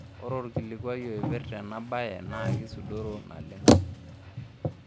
Ore olkilikuai oipirta ena baye naa keisudoro naleng.